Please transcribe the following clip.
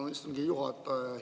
Tänan, istungi juhataja!